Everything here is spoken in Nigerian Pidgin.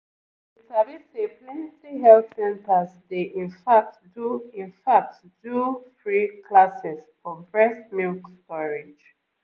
you sabi say plenty health centers dey infact do infact do free classes for breast milk storage